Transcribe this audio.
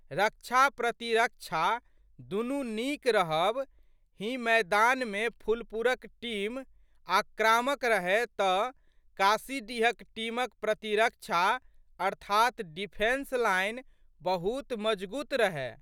रक्षाप्रतिरक्षा दुनू नीक रहब हि मैदानमे फुलपुरक टीम आक्रामक रहए तऽ काशीडीहक टीमक प्रतिरक्षा अर्थात् डिफेन्स लाइन बहुत मजगूत रहए।